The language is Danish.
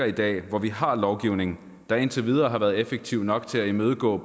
i dag hvor vi har en lovgivning der indtil videre har været effektiv nok til at imødegå